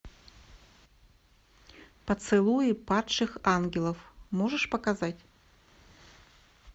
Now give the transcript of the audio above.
поцелуи падших ангелов можешь показать